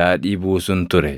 daadhii buusun ture.